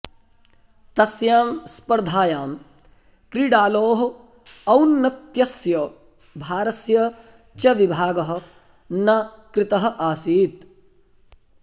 तस्यां स्पर्धायां क्रीडालोः औन्नत्यस्य भारस्य च विभागः न कृतः आसीत्